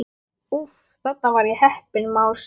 Úff, þarna var ég heppin másaði